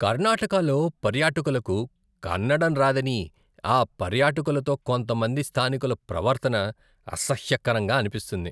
కర్ణాటకలో పర్యాటకులకు కన్నడం రాదని ఆ పర్యాటకులతో కొంతమంది స్థానికుల ప్రవర్తన అసహ్యకరంగా అనిపిస్తుంది.